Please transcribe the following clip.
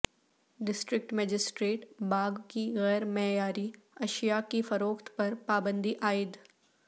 district magistrate باغ کی غیر معیاری اشیاء کی فروخت پر پابندی عائد